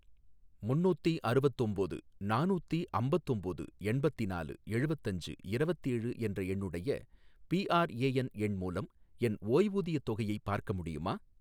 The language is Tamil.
முன்னூத்தி அறுவத்தொம்போது , நானூத்தி அம்பத்தொம்போது எண்பத்னாலு எழுவத்தஞ்சு இரவத்தேழு என்ற என்னுடைய பிஆர்ஏஎன் எண் மூலம் என் ஓய்வூதியத் தொகையை பார்க்க முடியுமா?